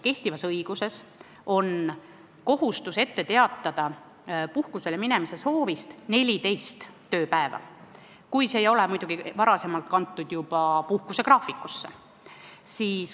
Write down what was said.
Kehtivas õiguses on kohustus puhkusele minemise soovist ette teatada 14 tööpäeva, kui puhkus ei ole muidugi juba varem puhkusegraafikusse kantud.